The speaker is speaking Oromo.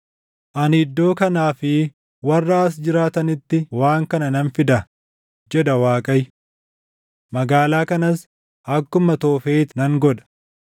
Ani iddoo kanaa fi warra as jiraatanitti waan kana nan fida, jedha Waaqayyo. Magaalaa kanas akkuma Toofet nan godha.